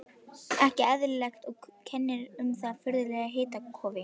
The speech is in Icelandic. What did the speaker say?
Ekki eðlilegt, og kennir um þessu furðulega hitakófi.